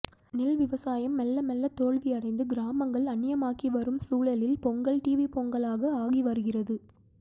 நெல் விவசாயம் மெல்ல மெல்ல தோல்வியடைந்து கிராமங்கள் அன்னியமாகிவரும் சூழலில் பொங்கல் டிவிப்பொங்கலாக ஆகிவருகிறது